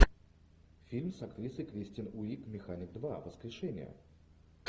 фильм с актрисой кристен уиг механик два воскрешение